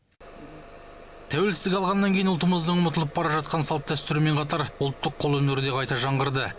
тәуелсіздік алғаннан кейін ұлтымыздың ұмытылып бара жатқан салт дәстүрімен қатар ұлттық қолөнері де қайта жаңғырды